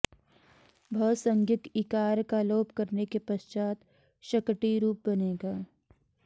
भसंज्ञक इकार का लोप करने के पश्चात् शकटी रूप बनेगा